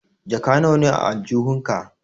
Jaka nawa ne a aljihun ka?